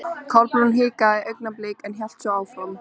Kolbrún hikaði augnablik en hélt svo áfram.